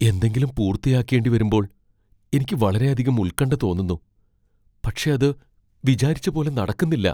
എന്തെങ്കിലും പൂർത്തിയാക്കേണ്ടിവരുമ്പോൾ എനിക്ക് വളരെയധികം ഉൽകണ്ഠ തോന്നുന്നു , പക്ഷേ അത് വിചാരിച്ച പോലെ നടക്കുന്നില്ല.